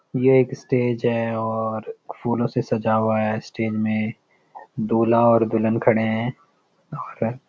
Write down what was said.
ये एक स्‍टेज है और फूलों से सजा हुआ है स्‍टेज में और दुल्‍हन खड़े हैं और--